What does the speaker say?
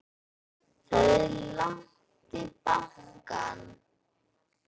Það er langt í bankann!